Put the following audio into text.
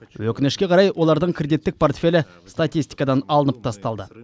өкінішке қарай олардың кредиттік портфелі статистикадан алынып тасталды